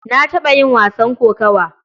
Na taɓa yin wasan kokawa.